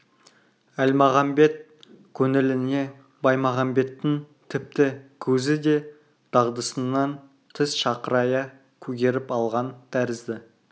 әлмағамбет көңіліне баймағамбеттің тіпті көзі де дағдысынан тыс шақырая көгеріп алған тәрізді